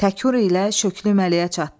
Tekur ilə Şöklü Məliyə çatdı.